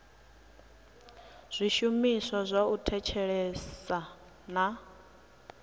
zwishumiswa zwa u thetshelesa na